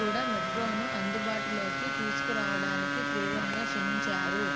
కూడా మెట్రోను అందుబాటులోకి తీసుకురావడానికి తీవ్రంగా శ్రమించారు